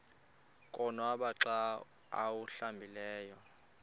konwaba xa awuhlambileyo